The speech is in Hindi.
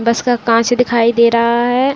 बस का कांच दिखाई दे रहा है।